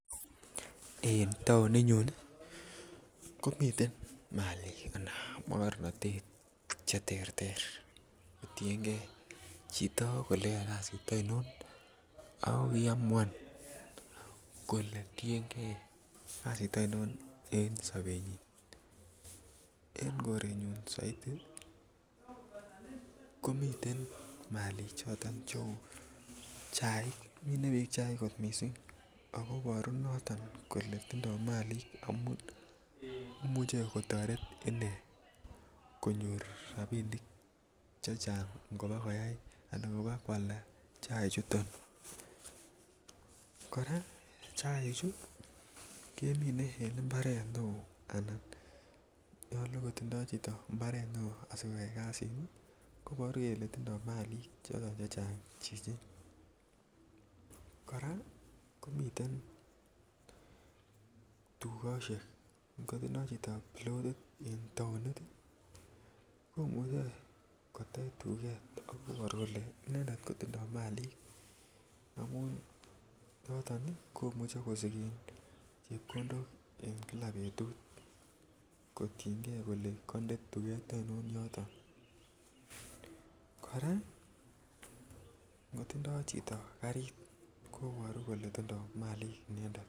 En taoninyun komiten Maalik anan mogornatet Che terter kotienge chito kole koyoe kasit oinon ako iamuan kole tienge kele yoe kasiit ionon en sobenyin en korenyun soiti komiten Maalik cheu minee bik tuguk cheu chaik kot mising ako Iboru noton kole tindo Malik amun imuche kotoret inei konyor rabisiek chechang ngoba koalda chaik kora chaichu kemine en mbaret neo Anan nyolu kotindoi chito mbaret neo asikoyai kasini koiboru kele tindoi Malik chechang chichi kora komiten tugosiek kotindoi chito lorit en taonit koimuche kotech duket koiboru kole inendet kotindoi Maalik Che imuche kosigen chepkondok en kila betut kotienge kele koinde tuget oinon yoton kora ngotindoi chito karit koiboru kele tindoi Maalik inendet